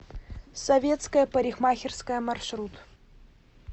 советская парикмахерская маршрут